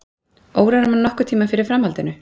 Órar mann nokkurn tímann fyrir framhaldinu.